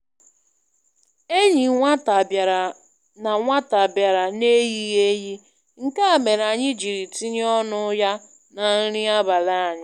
Enyi nwata bịara n' nwata bịara n' eyighị eyi, nke a mere anyị jiri tinye ọnụ ya na nri abalị anyị.